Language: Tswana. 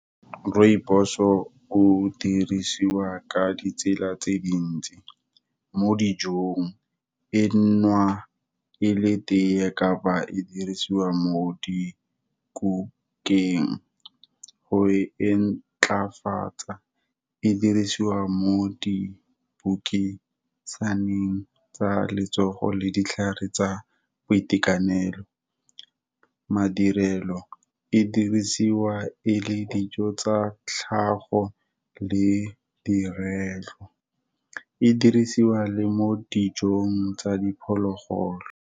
Rooibos-o o dirisiwa ka ditsela tse dintsi, mo dijong, e nowa e le teye ka ba e dirisiwa mo di kukeng, go e ntlafatsa e dirisiwa mo dibukeng tsa neng, tsa letsogo le ditlhare tsa boitekanelo. Madirelo, e dirisiwa e le dijo tsa tlhago, le direlo, e dirisiwa le mo dijong tsa diphologolo.